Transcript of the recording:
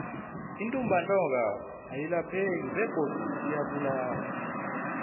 intumbantonga ayilapheki begodu iyabulala